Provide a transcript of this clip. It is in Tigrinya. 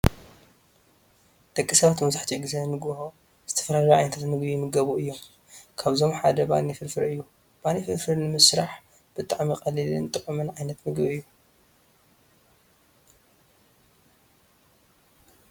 ደቂ ሰባት መብዛሕቲኡ ግዜ ንጉሆ ዝተፈላለዩ ዓይነታት ምግቢ ይምገብ እዩ። ካብዚአቶም ሓደ ባኒ ፍርፍር እዩ። ባኒ ፍርፍር ንምስራሕ ብጣዕሚ ቀሊልን ጥዕሙን ዓይነት ምግቢ እዩ።